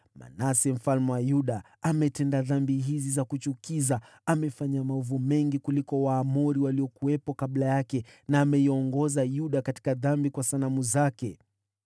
“Manase mfalme wa Yuda ametenda dhambi hizi za kuchukiza. Amefanya maovu mengi kuliko Waamori waliokuwepo kabla yake, na ameiongoza Yuda katika dhambi kwa sanamu zake.